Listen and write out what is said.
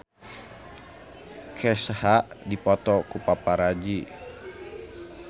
Kesha dipoto ku paparazi